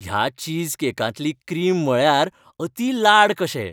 ह्या चीजकेकांतली क्रीम म्हळ्यार अति लाड कशे .